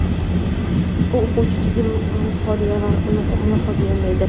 U o‘quvchini jiddiy mushohada va mulohazaga undaydi.